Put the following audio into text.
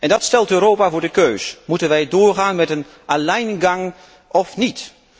Dat stelt Europa voor de keus moeten wij doorgaan met een Alleingang of niet?